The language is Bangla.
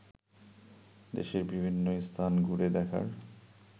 দেশের বিভিন্ন স্থান ঘুরে দেখার